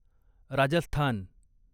Rajasthan